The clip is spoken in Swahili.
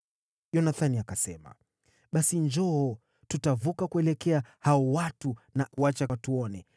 Yonathani akasema, “Basi njoo; tutavuka kuwaelekea hao watu na kuacha watuone.